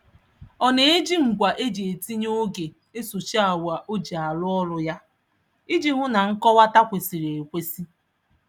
Ọ na-eji ngwa e ji etinye oge esochi awa o ji arụ ọrụ ya iji hụ na nmọkwata kwesịrị ekwesị.